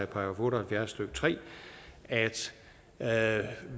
§ otte og halvfjerds stykke tre at at